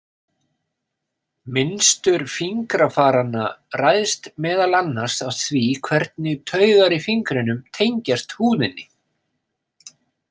Mynstur fingrafaranna ræðst meðal annars af því hvernig taugar í fingrunum tengjast húðinni.